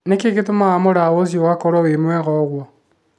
Nĩ kĩĩ gĩtũmaga mũraũ ũcio ũkorũo ũrĩ mwega uguo?